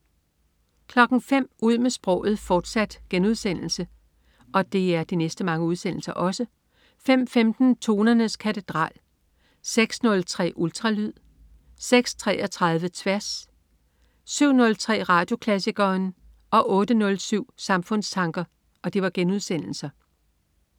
05.00 Ud med sproget, fortsat* 05.15 Tonernes katedral* 06.03 Ultralyd* 06.33 Tværs* 07.03 Radioklassikeren* 08.07 Samfundstanker*